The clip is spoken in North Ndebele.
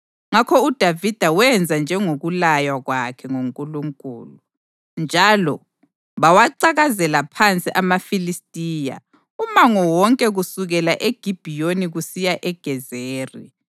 Ngakho uDavida wenza njengokulaywa kwakhe nguNkulunkulu, njalo bawacakazela phansi amaFilistiya umango wonke kusukela eGibhiyoni kusiya eGezeri.